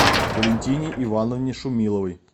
валентине ивановне шумиловой